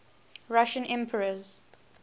russian emperors